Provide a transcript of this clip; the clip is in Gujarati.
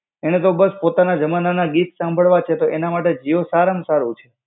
એને તો બસ પોતાના જમાનાના ગીત સાંભળવા છે, તો એના માટે જીઓ સારામાં સારું છે